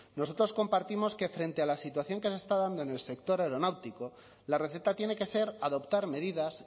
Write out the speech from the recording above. nosotros compartimos que frente a la situación que se está dando en el sector aeronáutico la receta tiene que ser adoptar medidas